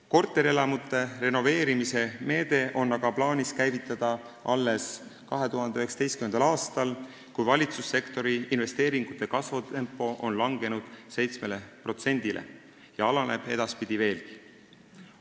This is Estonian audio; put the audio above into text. Korterelamute renoveerimise meede on aga plaanis käivitada alles 2019. aastal, kui valitsussektori investeeringute kasvutempo on langenud 7%-le ja alaneb edaspidi veelgi.